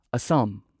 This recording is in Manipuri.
ꯑꯁꯥꯝ